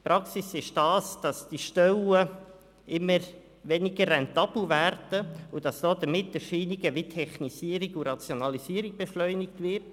Die Praxis ist, dass diese Stellen immer weniger rentabel werden und dass damit Erscheinungen wie Technisierung und Rationalisierung beschleunigt werden.